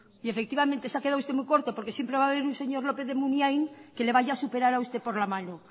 y efectivamente se ha quedado usted muy corto porque siempre va a haber un señor lópez de munain que le vaya a superar a usted por la mano